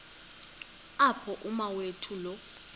apho umawethu lo